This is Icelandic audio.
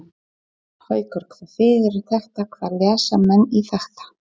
Haukur: Hvað þýðir þetta, hvað lesa menn í þetta?